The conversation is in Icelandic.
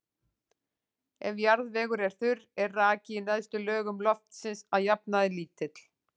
Ef jarðvegur er þurr er raki í neðstu lögum loftsins að jafnaði lítill.